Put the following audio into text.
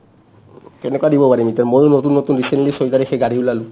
কেনেকা দিব পাৰিম ইতা ময়ো নতুন নতুন recently ছয় তাৰিখে গাড়ী ওলালো